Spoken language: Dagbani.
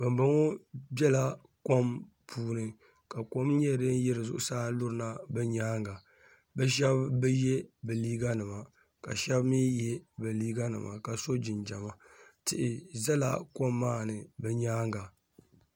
bambɔŋɔ bela kom puuni ka kom nyɛ din yiri zuɣusaa n-lurina bɛ nyaaŋga bɛ shɛba bi ye bɛ liiganima ka shɛba mi ye bɛ liiganima ka so jinjama tihi zala kom maa ni bɛ nyaaŋga